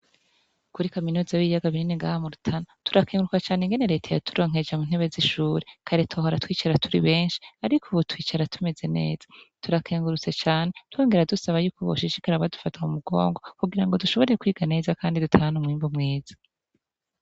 Kuri kaminuza ya turakenguruka cane ingene reta yaturonkeje intebe zishure kare twahora twicara turi benshi ariko ubu twicara neza turakengurutse cane twongera dusaba yuko boshishikara badufata mumugongo kugirango dushobore kwiga neza kandi dutahane umwimbu mwiza